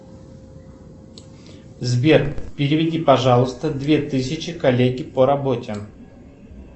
сбер переведи пожалуйста две тысячи коллеге по работе